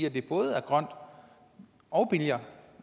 at det både er grønt og billigere